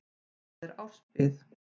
Þar er árs bið.